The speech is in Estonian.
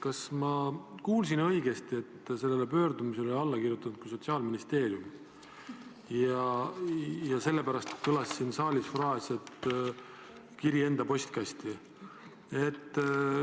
Kas ma kuulsin õigesti, et sellele pöördumisele oli alla kirjutanud Sotsiaalministeerium ja sellepärast kõlas siin saalis fraas, et kiri enda postkasti?